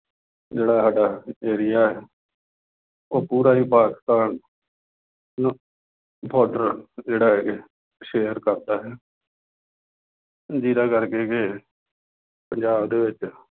ਜਿਹੜਾ ਸਾਡਾ area ਹੈ ਉਹ ਪੂਰਾ ਹੀ ਪਾਕਿਸਤਾਨ border ਜਿਹੜਾ ਹੈਗਾ share ਕਰਦਾ ਹੈ। ਜਿੰਨ੍ਹਾ ਕਰਕੇ ਕਿ ਪੰਜਾਬ ਦੇ ਵਿੱਚ